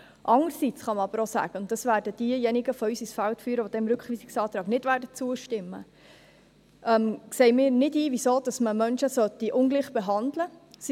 Andererseits kann man auch sagen – und dies werden diejenigen von uns ins Feld führen, welche dem Rückweisungsantrag nicht zustimmen werden –, dass wir nicht einsehen, weshalb man Menschen ungleich behandeln sollte.